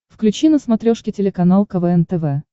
включи на смотрешке телеканал квн тв